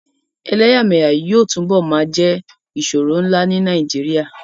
Ẹ̀lẹyàmẹyà yóò tunbo máa jẹ́ ìṣòro ńlá ní Nàìjíríà